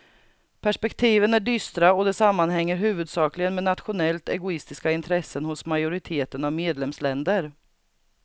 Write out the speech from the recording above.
Perspektiven är dystra och det sammanhänger huvudsakligen med nationellt egoistiska intressen hos majoriteten av medlemsländer.